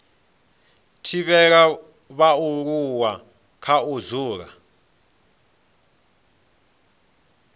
thivhela vhaaluwa kha u dzula